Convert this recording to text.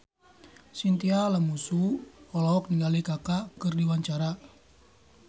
Chintya Lamusu olohok ningali Kaka keur diwawancara